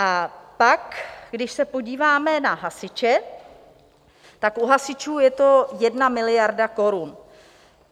A pak když se podíváme na hasiče, tak u hasičů je to jedna miliarda korun.